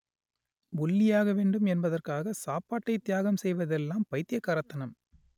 ஒல்லியாக வேண்டும் என்பதற்காக சாப்பாட்டை தியாகம் செய்வதெல்லாம் பைத்தியக்காரத்தனம்